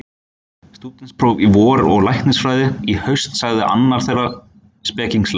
Stúdentspróf í vor og læknisfræði í haust sagði annar þeirra spekingslega.